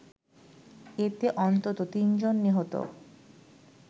এতে অন্তত তিন জন নিহত